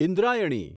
Indrayani